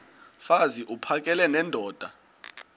mfaz uphakele nendoda